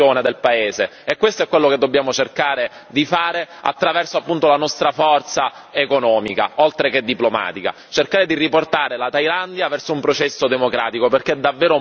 E questo è quello che dobbiamo cercare di fare attraverso, appunto, la nostra forza economica, oltre che diplomatica, cercare di riportare la Thailandia verso un processo democratico, perché è davvero molto importante.